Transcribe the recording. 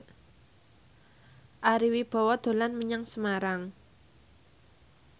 Ari Wibowo dolan menyang Semarang